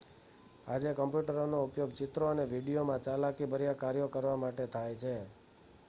આજે કમ્પ્યુટરોનો ઉપયોગ ચિત્રો અને વીડિયોમાં ચાલાકીભર્યા કાર્યો કરવા માટે થાય છે